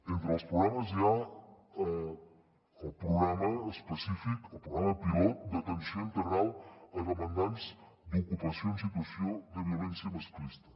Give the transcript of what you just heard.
entre els programes hi ha el programa específic el programa pilot d’atenció integral a demandants d’ocupació en situació de violència masclista